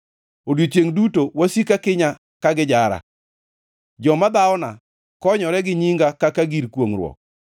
Odiechiengʼ duto wasika kinya ka gijara; joma dhawona konyore gi nyinga kaka gir kwongʼruok.